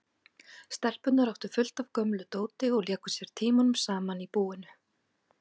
Stelpurnar áttu fullt af gömlu dóti og léku sér tímunum saman í búinu.